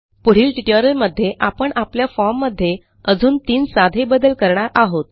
पुढील ट्युटोरियलमध्ये आपण आपल्या फॉर्म मध्ये अजून तीन साधे बदल करणार आहोत